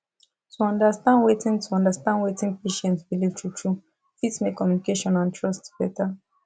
to understand wetin to understand wetin patient believe truetrue fit make communication and trust better